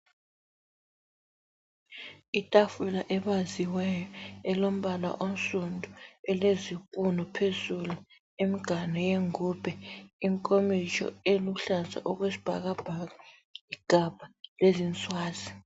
I tafula ebaziweyo elombala onsundu elezipunu phezulu, imganu yengubhe , inkomitsho eluhlaza okwesibhakabhaka, igabha lezinswazi.